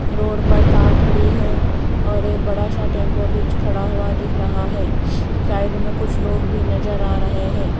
Road पर car खड़ी है और एक बड़ा सा टेंपो बीच खड़ा हुआ दिख रहा है साइड में कुछ लोग भी नजर आ रहे हैं।